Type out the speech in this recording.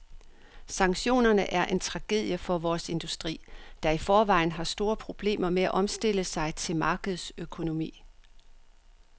Sanktionerne er en tragedie for vores industri, der i forvejen har store problemer med at omstille sig til markedsøkonomi.